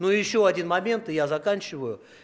ну ещё один момент и я заканчиваю